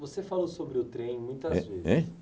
Você falou sobre o trem muitas vezes. He hein?